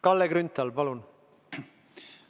Kalle Grünthal, palun!